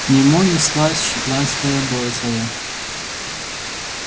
к нему неслась шотландская борзая